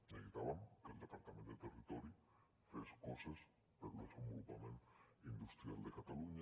necessitàvem que el departament de territori fes coses pel desenvolupament industrial de catalunya